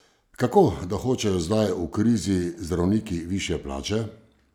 Kako da hočejo zdaj, v krizi, zdravniki višje plače?